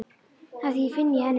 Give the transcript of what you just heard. Afþvíað ég finn í henni léttinn.